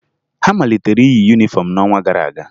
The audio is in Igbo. Ha malitere iyi yunifọmụ n'ọnwa gara aga